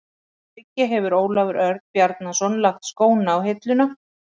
Að auki hefur Ólafur Örn Bjarnason lagt skóna á hilluna.